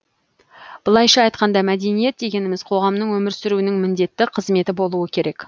былайша айтқанда мәдениет дегеніміз қоғамның өмір сүруінің міндетті қызметі болуы керек